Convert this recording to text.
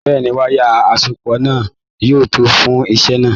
Bẹ́ẹ̀ni, wayà asopọ náà yóò tó fún iṣẹ náà.